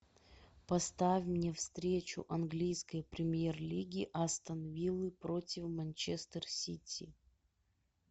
поставь мне встречу английской премьер лиги астон виллы против манчестер сити